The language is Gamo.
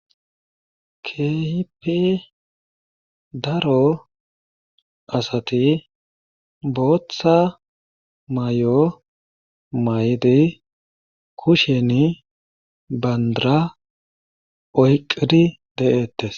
Keehippe daro asati bootha mayo mayidi kusheni banddira oyqqidi de7eettes.